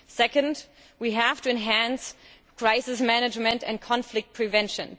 Second, we have to enhance crisis management and conflict prevention.